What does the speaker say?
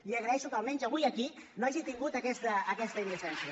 li agraeixo que almenys avui aquí no hagi tingut aquesta indecència